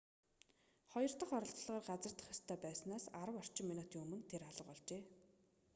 хоёр дох оролдлогоор газардах ёстой байснаас арав орчим минутын өмнө тэр алга болжээ